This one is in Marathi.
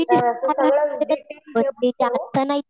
फीस हजार रुपये तरी भरावे लागतील आता नाही